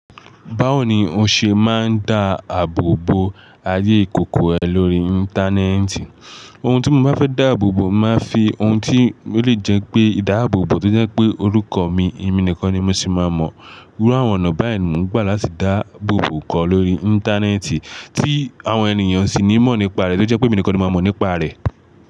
Báwo ni o ṣe máa ń dá àbò bo ayé ìkòkò rẹ lórí Íńtánẹ́ẹ̀tì? Ohun tí mo bá fẹ́ dá àbò bó, màá fi ohun tí yóò le jẹ́ pé ìdá àbò bó tó jẹ́ pé orúkọ mi, èmi nìkan ni mo sì máa mọ̀. Irú àwọn ọ̀nà báyìí ni mò ń gbà láti dá àbò bó kọ́ lórí Íńtánẹ́ẹ̀tì tí àwọn ènìyàn sì ní mọ̀ nípa rẹ tó jẹ́ pé èmi nìkan ni ó máa mọ̀ nípa rẹ.